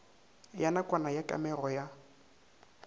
ya nakwana ya kamego ya